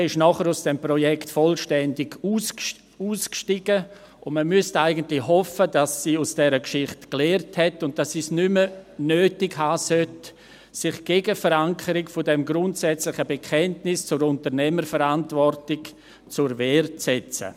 Die BKW stieg danach vollständig aus dem Projekt aus, und man müsste eigentlich hoffen, dass sie aus dieser Geschichte gelernt hat und es nicht mehr nötig haben sollte, sich gegen die Verankerung dieses grundsätzlichen Bekenntnisses zur Unternehmerverantwortung zur Wehr zu setzen.